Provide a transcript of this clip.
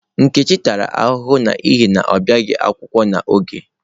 Nkechi tara ahụhụ n'ihi na ọ bịaghi akwụkwọ n'oge.